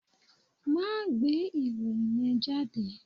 Máa gbé ìròyìn yẹn jáde.